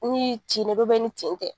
Ni cin no ni cin tɛ.